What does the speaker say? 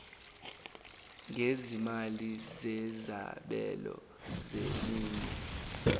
gezimali zezabelo zeminye